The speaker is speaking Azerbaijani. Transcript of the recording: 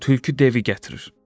Budur tülkü devi gətirir.